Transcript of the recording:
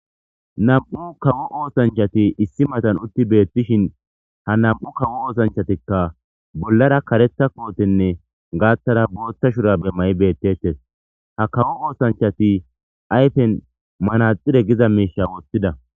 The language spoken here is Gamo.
Nam'u kawo oosanchati issi matan utti beyishin ha nam'u kawo ossanchatika bollara karetha kotene gaathara boothi mayo beetetes ubbatika ha kawo ossanchati ba ayfe bolla manaxire wothida